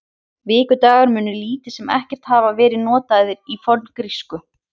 Vikudagar munu lítið sem ekkert hafa verið notaðir í forngrísku.